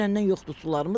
Dünəndən yoxdur sularımız.